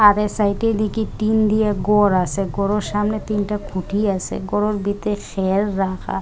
আর এই সাইডের দিকে টিন দিয়ে গর আসে ঘরের সামনে তিনটা খুঁটি আছে ঘরোর ভিতরে খের রাখা।